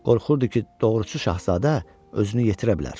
Qorxurdu ki, doğrusu, şahzadə özünü yetirə bilər.